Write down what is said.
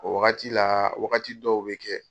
O wagati la, wagati dɔw bɛ kɛ.